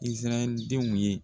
Izirayɛli denw ye.